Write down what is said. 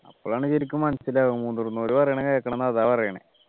അപ്പോഴാണ് ശരിക്കും മനസ്സിലാവും മുതിർന്നവർ പറയണത് കേൾക്കണം അതാ പറയണെ